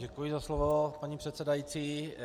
Děkuji za slovo, paní předsedající.